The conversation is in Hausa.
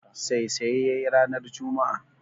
Saisaye ya yi ranar juma'a